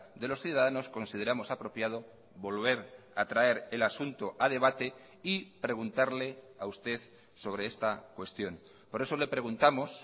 de los ciudadanos consideramos apropiado volver a traer el asunto a debate y preguntarle a usted sobre esta cuestión por eso le preguntamos